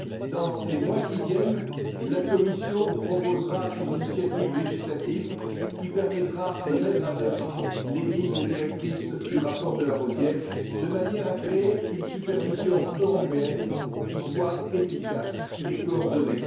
Dans les mois qui viennent, la Commission proposera une initiative législative qui permettra de mettre en œuvre les lignes directrices du rapport de Larosière, de manière à créer une supervision européenne qui soit efficace et coordonnée.